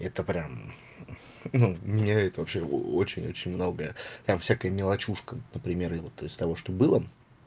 это прям ну мне это вообще очень очень многое там всякая мелочушка например и вот из того что было